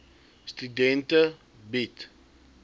studente bied